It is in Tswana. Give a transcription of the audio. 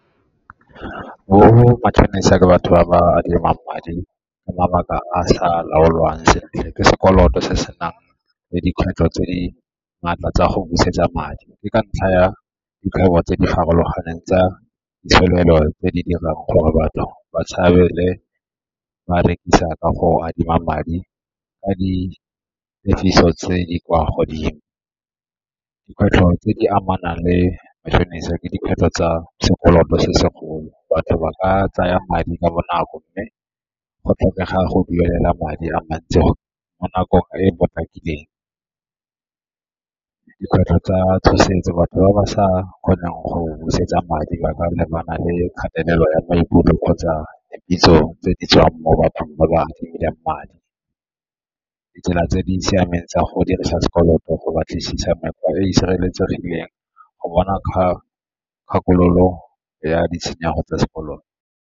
Bo matšhonisa ke batho ba ba adimang madi ka mabaka a sa laolwang sentle. Ke sekoloto se senang le dikgwetlho tse di maatla tsa go busetsa madi. Ke ka ntlha ya dikgwebo tse di farologaneng tsa tse di dirang gore batho ba tshabe le ba rekisa ka go adima madi ka tse di kwa godimo. Dikgwetlho tse di amana le matšhonisa ke dikgwetlho tsa sekoloto se segolo, batho ba ka tsaya madi ka bonako mme go tlhokega go duela madi a mantsi mo nakong e e potlakileng. Dikgwetlho tsa tshosetso, batho ba ba sa kgoneng go busetsa madi ba ka lebana le kgatelelo ya maikutlo kgotsa tse di tswang mo bathong ba ba madi. Ditsela tse di siameng tsa go dirisa sekoloto, go batlisisa nako e e sireletsegileng, go bona ka kgakololo ya ditshenyego tsa sekoloto.